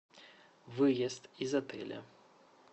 выезд из отеля